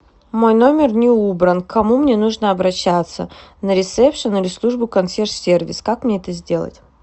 мой номер не убран к кому мне нужно обращаться на ресепшн или в службу консьерж сервис как мне это сделать